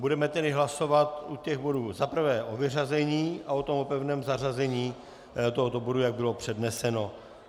Budeme tedy hlasovat u těch bodů za prvé o vyřazení a potom o pevném zařazení tohoto bodu, jak bylo předneseno.